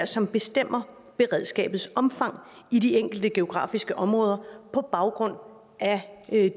som bestemmer beredskabets omfang i de enkelte geografiske områder på baggrund af